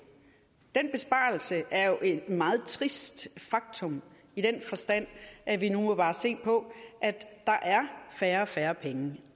den besparelse er jo et meget trist faktum i den forstand at vi nu bare må se på at der er færre og færre penge